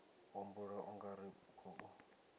humbula u nga ri khou